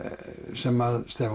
sem